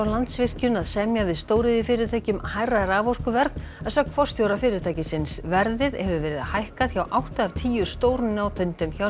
Landsvirkjun að semja við stóriðjufyrirtæki um hærra raforkuverð að sögn forstjóra fyrirtækisins verðið hefur verið hækkað hjá átta af tíu stórnotendum hjá